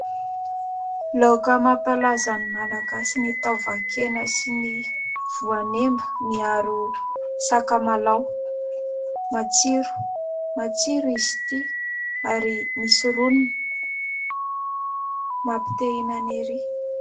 Laoka mampalaza ny malagasy ny taovan-kena sy ny voanemba miharo sakamalao, matsiro, matsiro izy ity ary misy roniny mampite ihinana ery.